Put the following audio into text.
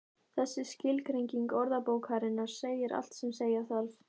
Þessi skilgreining orðabókarinnar segir allt sem segja þarf.